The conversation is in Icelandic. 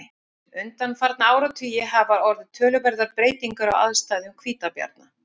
Undanfarna áratugi hafa orðið töluverðar breytingar á aðstæðum hvítabjarna.